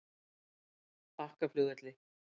Bakkaflugvelli